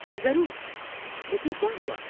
ضرور، لیکن کیا ہوا؟